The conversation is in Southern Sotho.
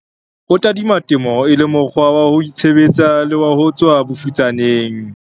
O tadima temo e le mokgwa wa ho itshebetsa le wa ho tswa bofutsaneng.